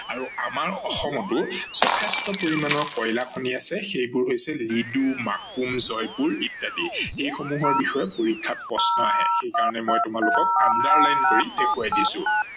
আৰু আমাৰ অসমতো যথেষ্ট পৰিমানৰ কয়লা খনি আছে সেইবোৰ হৈছে লুডি, মাকোম, জয়পুৰ ইত্যাদি এইসমূহৰ বিষয়ে পৰীক্ষাত প্ৰশ্ন আহে সেইকাৰনে মই তোমালোকক underline কৰি দেখোৱাই দিছো।